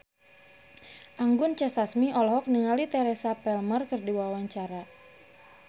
Anggun C. Sasmi olohok ningali Teresa Palmer keur diwawancara